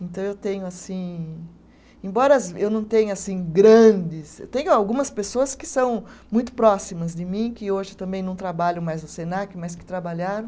Então, eu tenho, assim, embora as eu não tenha assim grandes, tenho algumas pessoas que são muito próximas de mim, que hoje também não trabalham mais no Senac, mas que trabalharam.